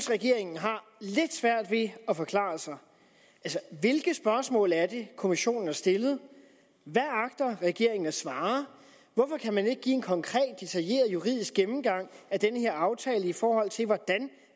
regeringen har lidt svært ved at forklare sig hvilke spørgsmål er det kommissionen har stillet hvad agter regeringen at svare hvorfor kan man ikke give en konkret detaljeret juridisk gennemgang af den her aftale i forhold til hvordan